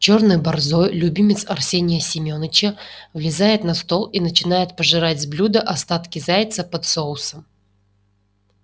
чёрный борзой любимец арсения семёныча влезает на стол и начинает пожирать с блюда остатки зайца под соусом